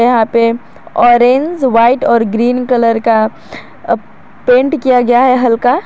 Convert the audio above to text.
यहां पे orange white और ग्रीन कलर का पेंट किया गया है हल्का।